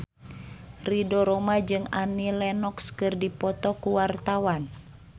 Ridho Roma jeung Annie Lenox keur dipoto ku wartawan